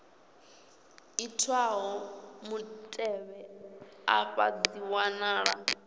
itwaho mutevhe afha dzi wanala